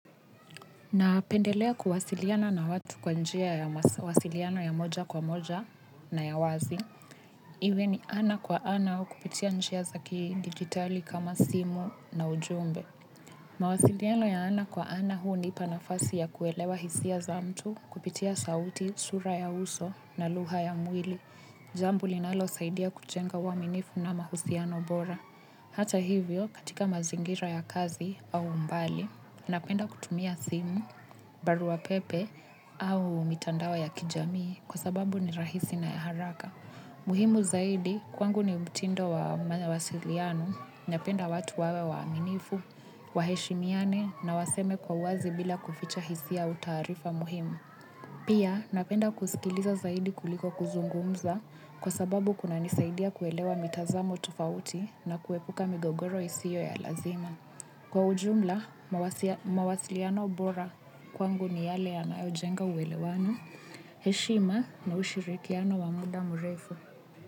Napendelea kuwasiliana na watu kwa njia ya mawasiliano ya moja kwa moja na ya wazi. Iwe ni ana kwa ana au kupitia njia za ki digitali kama simu na ujumbe. Mawasiliano ya ana kwa ana hunipa nafasi ya kuelewa hisia za mtu kupitia sauti sura ya uso na lugha ya mwili. Jambo linalosaidia kujenga uwaminifu na mahusiano bora. Hata hivyo, katika mazingira ya kazi au mbali, napenda kutumia simu, barua pepe au mitandao ya kijamii kwa sababu ni rahisi na ya haraka. Muhimu zaidi, kwangu ni mtindo wa mawasiliano, napenda watu wawe waaminifu, waheshimiane na waseme kwa uwazi bila kuficha hisia au taarifa muhimu. Pia napenda kusikiliza zaidi kuliko kuzungumza kwa sababu kunanisaidia kuelewa mitazamo tofauti na kuepuka migogoro isio ya lazima. Kwa ujumla, mawasiliano bora kwangu ni yale yanayojenga uwelewano, heshima na ushirikiano wa muda murefu.